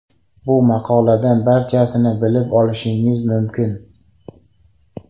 Bu maqoladan barchasini bilib olishingiz mumkin.